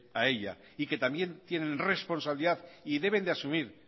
a ella y que también tienen responsabilidad y deben de asumir